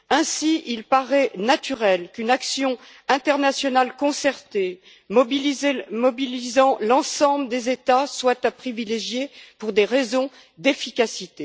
Ainsi, il paraît naturel qu'une action internationale concertée mobilisant l'ensemble des États soit à privilégier pour des raisons d'efficacité.